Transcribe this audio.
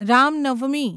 Ram Navami